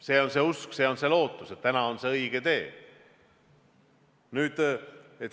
See on see usk, see on see lootus, et täna on see õige tee.